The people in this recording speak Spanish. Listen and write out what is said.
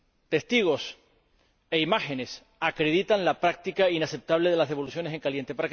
Testigos e imágenes acreditan la práctica inaceptable de las devoluciones en caliente.